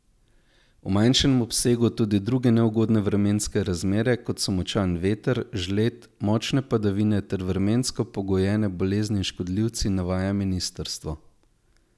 V manjšem obsegu tudi druge neugodne vremenske razmere, kot so močan veter, žled, močne padavine ter vremensko pogojene bolezni in škodljivci, navaja ministrstvo.